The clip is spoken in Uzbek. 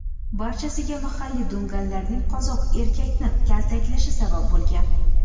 Barchasiga mahalliy dunganlarning qozoq erkakni kaltaklashi sabab bo‘lgan.